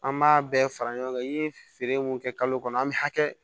An b'a bɛɛ fara ɲɔgɔn kan i ye feere mun kɛ kalo kɔnɔ an bɛ hakɛ